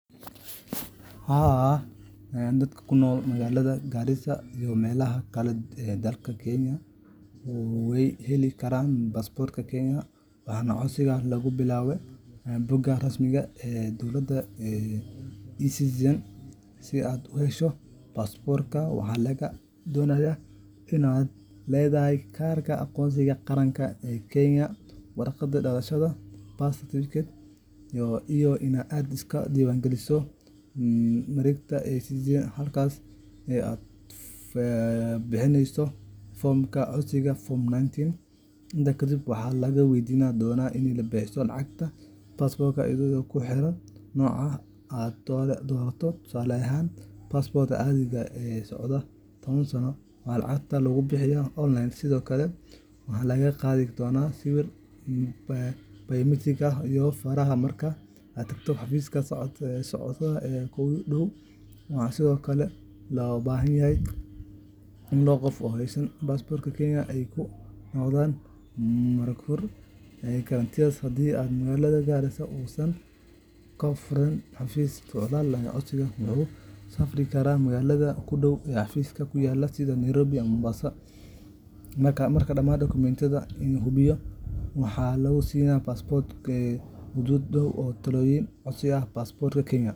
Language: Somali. Haa, dadka ku nool magaalada Garissa iyo meelaha kale ee dalka Kenya way heli karaan baasaboorka Kenya, waxaana codsiga lagu bilaabaa bogga rasmiga ah ee dowladda ee eCitizen. Si aad u hesho baasaboorka, waxaa lagaa doonayaa in aad leedahay kaarka aqoonsiga qaranka ee Kenya, warqadda dhalashada birth certificate, iyo in aad iska diiwaangeliso mareegta eCitizen halkaas oo aad ka buuxinayso foomka codsiga Form 19. Intaas kadib, waxaa lagu weydiin doonaa in aad bixiso lacagta baasaboorka iyadoo ku xiran nooca aad doorato tusaale ahaan, baasaboorka caadiga ah ee soconaya taban sano, waxaana lacagta lagu bixiyaa online. Sidoo kale, waxaa lagaa qaadi doonaa sawir biometrics ah iyo faraha marka aad tagto xafiiska socdaalka ee kuugu dhow, waxaana sidoo kale loo baahan yahay in labo qof oo haysta baasaboorka Kenya ay kuu noqdaan marag fure guarantors. Haddii magaalada Garissa uusan ka furnayn xafiis socdaal, codsaduhu wuxuu safri karaa magaalada ugu dhow ee xafiiskaasi ku yaal sida Nairobi ama Mombasa. Marka dhammaan dukumentiyada la hubiyo, waxaa lagu siyaa baasaboorka gudahood dhowr toddobaad. Codsashada baasaboorka Kenya .